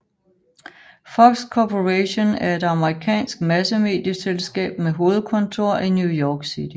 Fox Corporation er et amerikansk massemedieselskab med hovedkontor i New York City